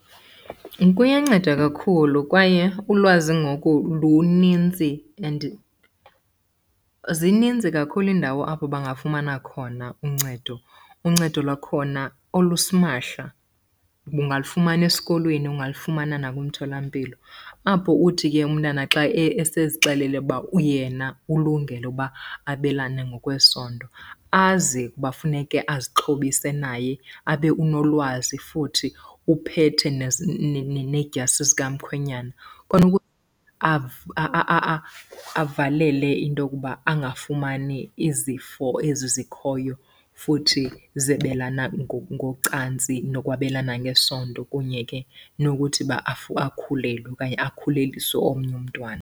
Kuyanceda kakhulu kwaye ulwazi ngoku lunintsi and zininzi kakhulu iindawo apho bangafumana khona uncedo, uncedo lwakhona olusimahla kuba ungalufumana esikolweni, ungalufumana nakwimtholampilo. Apho uthi ke umntana xa esezixelele uba yena ulungele ukuba abelane ngokwesondo azi ukuba funeke azixhobise naye abe unolwazi, futhi uphethe needyasi zikamkhwenyana. Avalele into yokuba angafumani izifo ezi zikhoyo futhi zebelana ngocantsi nokwabelana ngesondo kunye ke nokuthi ba akhulelwe okanye akhuleliswe omnye umntwana.